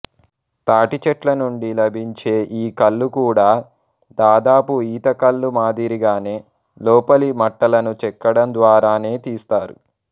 తాటి చెట్లనుండి లభించే ఈ కల్లు కూడా దాదాపు ఈతకల్లు మాదిరిగానే లోపలి మట్టలను చెక్కడం ద్వారానే తీస్తారు